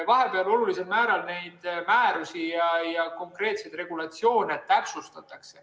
Vahepeal neid määrusi ja konkreetseid regulatsioone olulisel määral täpsustati.